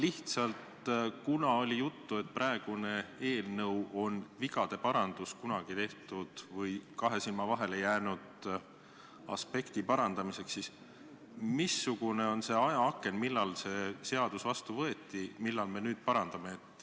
Aga kuna oli juttu, et praegune eelnõu on vigade parandus kunagi tehtud või kahe silma vahele jäänud aspekti suhtes, siis küsin, et missugune on see ajaaken, millal see seadus vastu võeti, mida me nüüd parandame.